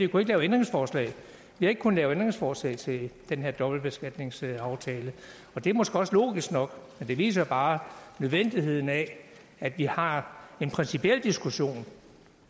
kunnet lave ændringsforslag vi har ikke kunnet lave ændringsforslag til den her dobbeltbeskatningsaftale det er måske også logisk nok men det viser jo bare nødvendigheden af at vi har en principiel diskussion